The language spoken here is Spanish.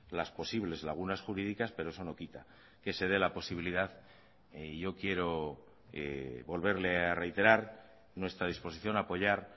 las posibles lagunas jurídicas pero eso no quita que se dé la posibilidad y yo quiero volverle a reiterar nuestra disposición a apoyar